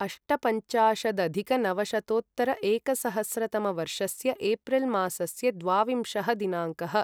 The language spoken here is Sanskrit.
अष्टपञ्चाशदधिकनवशतोत्तर एकसहस्रतमवर्षस्य एप्रिल् मासस्य द्वाविंशः दिनाङ्कः